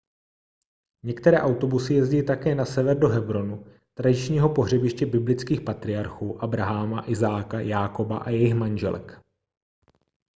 některé autobusy jezdí také na sever do hebronu tradičního pohřebiště biblických patriarchů abraháma izáka jákoba a jejich manželek